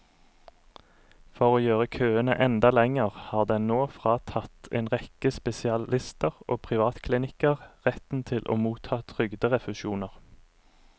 For å gjøre køene enda lengre har den nå fratatt en rekke spesialister og privatklinikker retten til å motta trygderefusjoner.